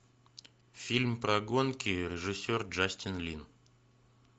фильм про гонки режиссер джастин лин